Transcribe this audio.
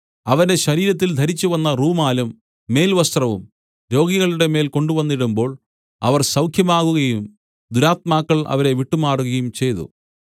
അവന്റെ ശരീരത്തിൽ ധരിച്ചുവന്ന റൂമാലും മേൽവസ്ത്രവും രോഗികളുടെമേൽ കൊണ്ടുവന്നിടുമ്പോൾ അവർ സൗഖ്യമാകുകയും ദുരാത്മാക്കൾ അവരെ വിട്ടുമാറുകയും ചെയ്തു